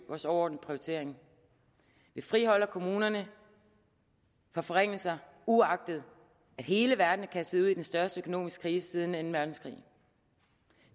vores overordnede prioritering vi friholder kommunerne for forringelser uagtet at hele verden er kastet ud i den største økonomiske krise siden anden verdenskrig